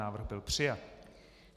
Návrh byl přijat.